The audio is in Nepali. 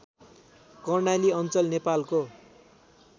कर्णाली अञ्चल नेपालको